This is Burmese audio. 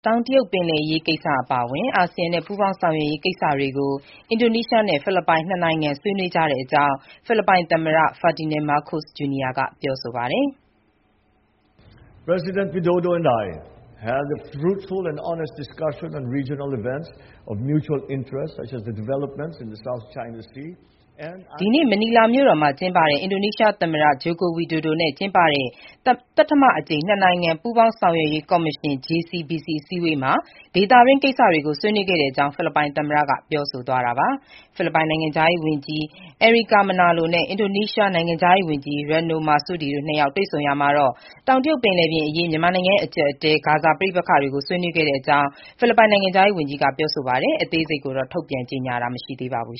တောင်တရုတ်ပင်လယ်အရေး ကိစ္စအပါအဝင် အာဆီယံနဲ့ ပူးပေါင်းဆောင်ရွက်ရေးကိစ္စတွေကို အင်ဒိုနီးရှားနဲ့ ဖိလစ်ပိုင် နှစ်နိုင်ငံ ဆွေးနွေးကြတဲ့အကြောင်း ဖိလစ်ပိုင် သမ္မတ Ferdinand Marcos Jr. က ပြောဆိုပါတယ်။ ဒီနေ့ မနီလာမြို့တော်မှာ ကျင်းပတဲ့ အင်ဒိုနီးရှား သမ္မတ Joko Widodo နဲ့ ကျင်းပတဲ့ သတ္တမအကြိမ် နှစ်နိုင်ငံ ပူးပေါင်းဆောင်ရွက်ရေး ကော်မရှင် JCBC အစည်းအဝေးမှာ ဒေသတွင်း ကိစ္စတွေကို ဆွေးနွေးတဲ့အကြောင်း ဖိလစ်ပိုင် သမ္မတက ပြောဆိုသွားတာပါ။ ဖိလစ်ပိုင်နိုင်ငံခြားရေး ဝန်ကြီး Enrique Manalo (အန်ရီကာ မနာလို) နဲ့ အင်ဒိုနီးရှား နိုင်ငံခြားရေးဝန်ကြီး Retno Marsudi (ရာတီနို မာဆူဒီ) တို့နှစ်ယောက် တွေ့ဆုံရာမှာတော့ တောင်တရုတ်ပင်လယ်အရေးအပြင် မြန်မာနိုင်ငံရဲ့ အကြပ်အတည်း၊ ဂါဇာ ပဋိပက္ခတွေကို ဆွေးနွေးခဲ့တဲ့အကြောင်း ဖိလစ်ပိုင်နိုင်ငံခြားရေး ဝန်ကြီးက ပြောဆိုပါတယ်။ အသေးစိတ်ကိုတော့ ထုတ်ပြန်ကြေညာတာ မရှိပါဘူး